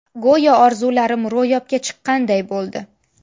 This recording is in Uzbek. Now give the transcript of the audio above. Go‘yoki orzularim ro‘yobga chiqqanday bo‘ldi.